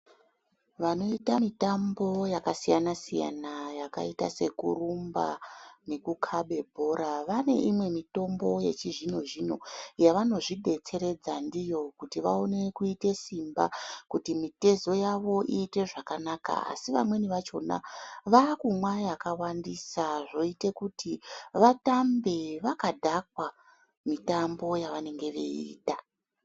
Vanoita mitambo yakasiyana siyana yakaite sekurumba nekukaba bhora vane imwe mitombo yechizvino zvino yavanozvidetseredza ndiyo kuti vaone kuite simba kuti mitezo yavo iite zvakanaka asi vamweni vachona vakumwa yakawandisa zvoite kuti vatambe vakadhakwa mitambo yavanenge veiita .